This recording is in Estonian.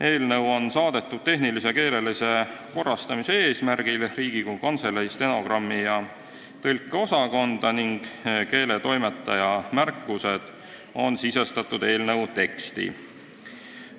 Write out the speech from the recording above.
Eelnõu saadeti tehnilise ja keelelise korrastamise eesmärgil Riigikogu Kantselei stenogrammi- ja tõlkeosakonda ning keeletoimetaja märkused on eelnõu teksti sisestatud.